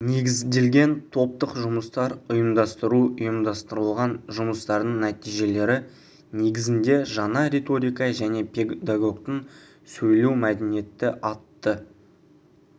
негізделген топтық жұмыстар ұйымдастыру ұйымдастырылған жұмыстардың нәтижелері негізінде жаңа риторика және педагогтың сөйлеу мәдениеті атты